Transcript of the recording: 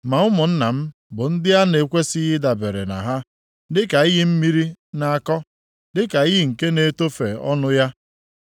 Ma ụmụnna m bụ ndị a na-ekwesighị ịdabere na ha, dịka iyi mmiri na-akọ, dịka iyi nke na-etofe ọnụ ya,